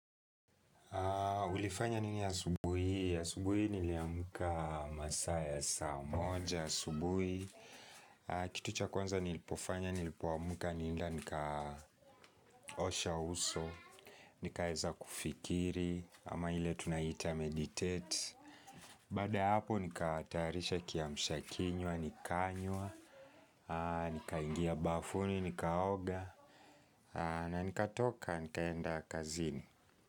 Ulifanya nini asubuhi hii? Asubuhi niliamka masaa ya saa moja asubuhi, kitu cha kwanza nilipofanya nilipoamka, nilienda nikaosha uso, nikaeza kufikiri, ama ile tunaita meditate. Baada ya hapo nikatayarisha kiamshakinywa, nikanywa, nikaingia bafuni, nikaoga, na nikatoka, nikaenda kazini.